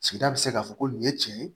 Sigida bɛ se k'a fɔ ko nin ye tiɲɛ ye